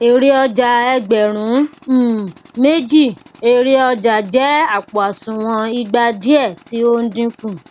èrè ọjà ẹgbẹrun um méjì ere ọjà jẹ àpò òsùnwọn ìgba diẹ tí o n dínkù